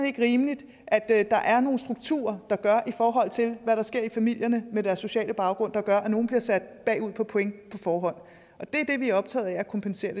ikke rimeligt at at der er nogle strukturer i forhold til hvad der sker i familierne med deres sociale baggrund der gør at nogle bliver sat bagud på point på forhånd det er det vi er optaget af at kompensere